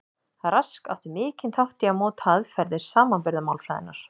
Rask átti mikinn þátt í að móta aðferðir samanburðarmálfræðinnar.